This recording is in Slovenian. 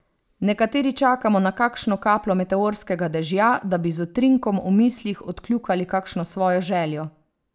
Nekateri čakamo na kakšno kapljo meteorskega dežja, da bi z utrinkom v mislih odkljukali kakšno svojo željo.